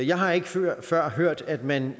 jeg har ikke før før hørt at man